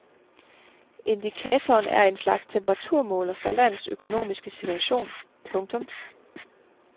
Indikatoren er en slags temperaturmåler for landets økonomiske situation. punktum